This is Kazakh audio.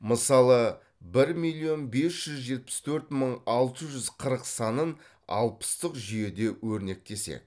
мысалы бір миллион бес жүз жетпіс төрт мың алты жүз қырық санын алпыстық жүйеде өрнектесек